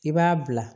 I b'a bila